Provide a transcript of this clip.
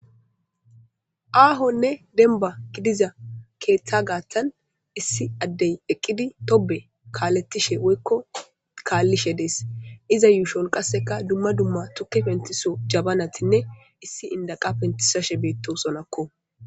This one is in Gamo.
Aahonne demba gidiza keeththa gaattan issi addey eqqidi tobe kaalettishe woykko kaallishe dees iza yuushon qasseka dumma dumma tuki pentiso jabanatinne issi indaqa pentisashe beetto sonakko.